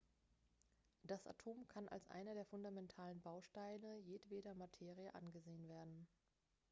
das atom kann als einer der fundamentalen bausteine jedweder materie angesehen werden